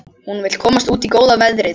Hún vill komast út í góða veðrið.